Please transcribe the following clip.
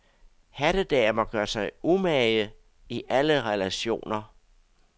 Hattedamer gør sig umage, i alle relationer.